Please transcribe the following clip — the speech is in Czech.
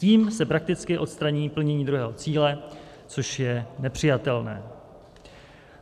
Tím se prakticky odstraní splnění druhého cíle, což je nepřijatelné.